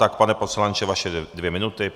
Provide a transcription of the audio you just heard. Tak pane poslanče, vaše dvě minuty.